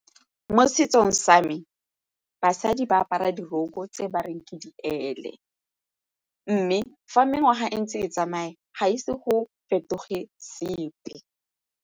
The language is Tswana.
Mo setsong sa me, basadi ba apara diroko tse ba reng ke diele mme fa mengwaga e ntse e tsamaya ga ise go fetoge sepe.